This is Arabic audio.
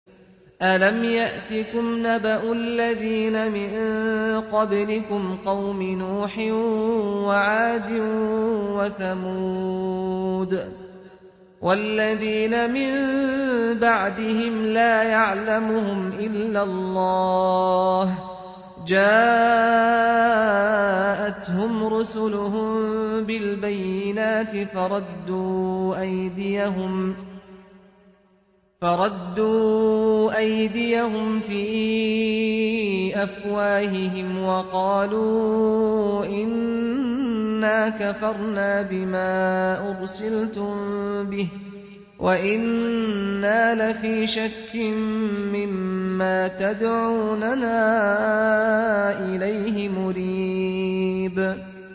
أَلَمْ يَأْتِكُمْ نَبَأُ الَّذِينَ مِن قَبْلِكُمْ قَوْمِ نُوحٍ وَعَادٍ وَثَمُودَ ۛ وَالَّذِينَ مِن بَعْدِهِمْ ۛ لَا يَعْلَمُهُمْ إِلَّا اللَّهُ ۚ جَاءَتْهُمْ رُسُلُهُم بِالْبَيِّنَاتِ فَرَدُّوا أَيْدِيَهُمْ فِي أَفْوَاهِهِمْ وَقَالُوا إِنَّا كَفَرْنَا بِمَا أُرْسِلْتُم بِهِ وَإِنَّا لَفِي شَكٍّ مِّمَّا تَدْعُونَنَا إِلَيْهِ مُرِيبٍ